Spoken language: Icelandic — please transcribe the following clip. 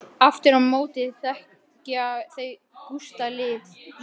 Aftur á móti þekkja þau Gústa lítið.